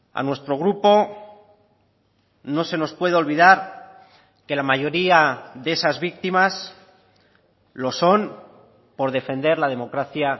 a nuestro grupo no se nos puede olvidar que la mayoría de esas víctimas lo son por defender la democracia